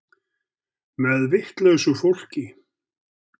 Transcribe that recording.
Með vitlausu fólki.